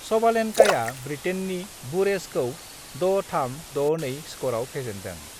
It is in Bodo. सबालेन्काआ ब्रिटेननि बुरेजखौ 6-3, 6-2 स्करआव फेजेन्दों।